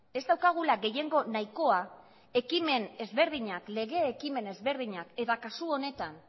lege ekimen ezberdinak eta kasu honetan